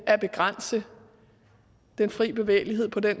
at begrænse den fri bevægelighed på den